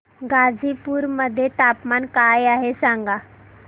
गाझीपुर मध्ये तापमान काय आहे सांगा